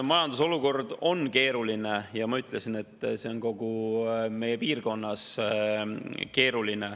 Majanduse olukord on keeruline ja ma ütlesin, et see on kogu meie piirkonnas keeruline.